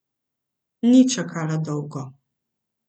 Ni čakala dolgo.